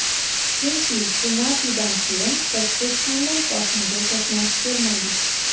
Chunki penaltidan keyin biz hech qanday bosimga to‘qnash kelmadik.